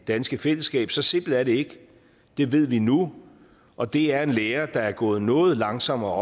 danske fællesskab så simpelt er det ikke det ved vi nu og det er en lære der er gået noget langsommere